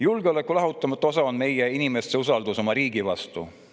Julgeoleku lahutamatu osa on meie inimeste usaldus oma riigi vastu.